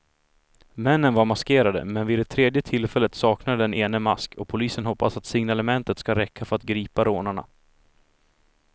Männen var maskerade, men vid det tredje tillfället saknade den ene mask och polisen hoppas att signalementet ska räcka för att gripa rånarna.